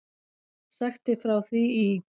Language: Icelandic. Sagt er frá því í